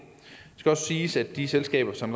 skal også siges at de selskaber som